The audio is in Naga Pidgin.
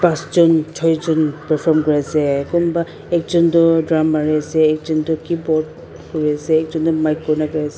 pasjon choijon perform kuriase kunba ekjon toh drum mariase ekjon toh keyboard kuriase ekjon toh mic boiase.